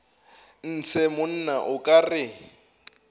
ntshe monna o ka re